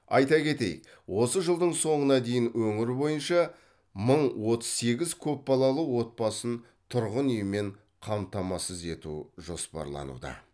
айта кетейік осы жылдың соңына дейін өңір бойынша мың отыз сегіз көпбалалы отбасын тұрғын үймен қамтамасыз ету жоспарлануда